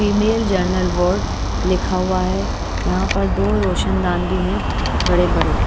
Female general ward लिखा हुआ है यहां पर दो रोशनदान भी है बड़े बड़े।